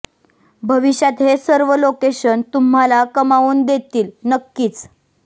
भविष्यात हे सर्व लोकेशन तुम्हाला कमावून देतील नक्किच